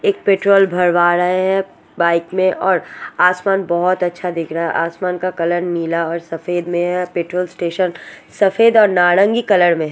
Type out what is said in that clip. एक पेट्रोल भरवा रहे है बाइक में और आसमान बहोत अच्छा दिख रहा है आसमान का कलर नीला और सफेद में है पेट्रोल स्टेशन सफेद और नारंगी कलर में--